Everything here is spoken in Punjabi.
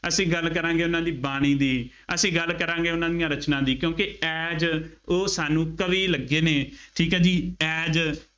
ਅਸੀਂ ਗੱਲ ਕਰਾਂਗੇ ਉਹਨਾ ਦੀ ਬਾਣੀ ਦੀ, ਅਸੀਂ ਗੱਲ ਕਰਾਂਗੇ ਉਹਨਾ ਦੀਆਂ ਰਚਨਾ ਦੀ, ਕਿਉਕਿ as ਉਹ ਸਾਨੂੰ ਕਵੀ ਲੱਗੇ ਨੇ, ਠੀਕ ਹੈ ਜੀ, as